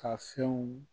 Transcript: Ka fɛnw